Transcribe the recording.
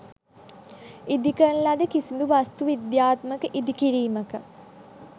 ඉදි කරන ලද කිසිදු වාස්තු විද්‍යාත්මක ඉදි කිරීමක